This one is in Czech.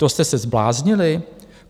To jste se zbláznili.